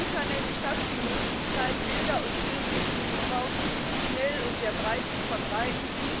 Das Internet schafft die Möglichkeit, Bilder und Filme des Missbrauchs schnell und sehr breit zu verbreiten.